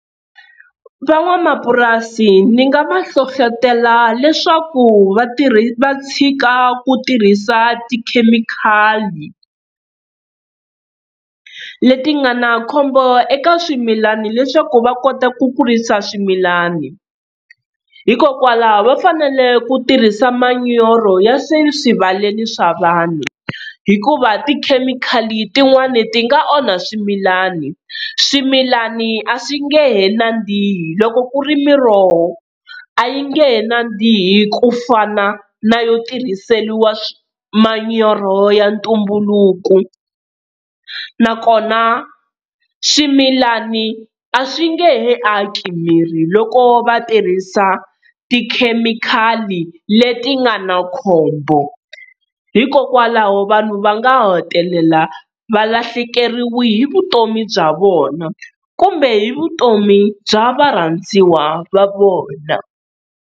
Van'wamapurasi ni nga va hlohlotela leswaku va va tshika ku tirhisa tikhemikhali, leti nga na khombo eka swimilani leswaku va kota ku kurisa swimilani. Hikokwalaho va fanele ku tirhisa manyoro ya swi swivaleni swa vanhu, hikuva tikhemikhali tin'wani ti nga onha swimilani, swimilani a swi nge he nandzihi, loko ku ri miroho a yi nge he nandziha ku fana na yo tirhiseriwa manyoro ya ntumbuluko. Nakona swimilani a swi nge he aki miri loko va tirhisa tikhemikhali leti nga na khombo, hikokwalaho vanhu va nga hetelela va lahlekeriwe hi vutomi bya vona kumbe hi vutomi bya varhandziwa va vona.